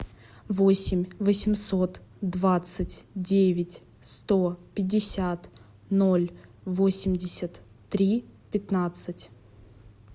восемь восемьсот двадцать девять сто пятьдесят ноль восемьдесят три пятнадцать